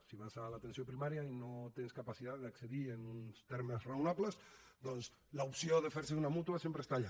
si vas a l’atenció primària i no tens capacitat d’accedir hi en uns termes raonables doncs l’opció de fer se d’una mútua sempre està allà